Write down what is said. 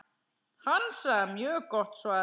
Hansa: Mjög gott svar.